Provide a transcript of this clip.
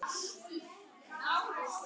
Kvenkyns simpansi að fróa sér.